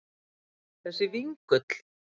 Hann þessi vingull.